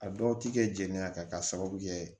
A dɔw ti kɛ jenini ka sababu kɛ